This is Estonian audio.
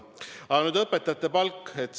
Aga nüüd õpetajate palgast.